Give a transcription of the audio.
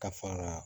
Ka fara